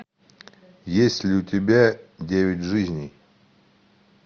есть ли у тебя девять жизней